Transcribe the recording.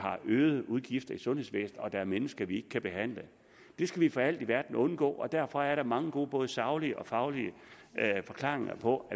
øge udgifterne i sundhedsvæsenet og at der er mennesker vi ikke kan behandle det skal vi for alt i verden undgå og derfor er der mange gode både saglige og faglige forklaringer på